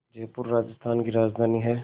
जयपुर राजस्थान की राजधानी है